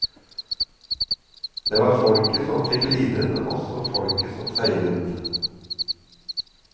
Det var folket som fikk lide, men også folket som seiret.